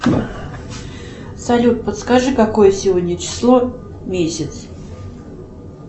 салют подскажи какое сегодня число месяц